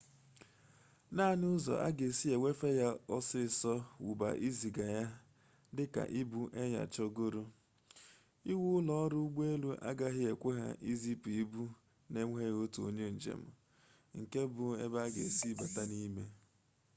naanị ụzọ a ga-esi ewefe ya ọsịịsọ wụbụ iziga ya dị ka ibu e nyochagoro iwu ụlọọrụ ụgbọelu agaghị ekwe ha izipụ ibu na-enweghị otu onye njem nke bụ ebe ị ga-esi bata n'ime